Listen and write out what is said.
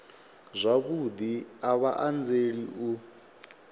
zwavhudi a vha anzeli u